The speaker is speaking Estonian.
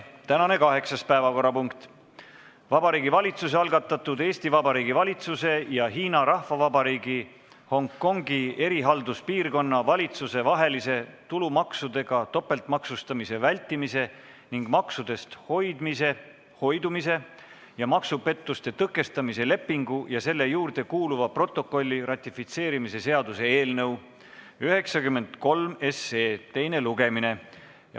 Tänane kaheksas päevakorrapunkt: Vabariigi Valitsuse algatatud Eesti Vabariigi valitsuse ja Hiina Rahvavabariigi Hongkongi erihalduspiirkonna valitsuse vahelise tulumaksudega topeltmaksustamise vältimise ning maksudest hoidumise ja maksupettuste tõkestamise lepingu ja selle juurde kuuluva protokolli ratifitseerimise seaduse eelnõu 93 teine lugemine.